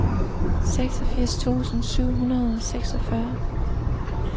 seksogfirs tusind syv hundrede og seksogfyrre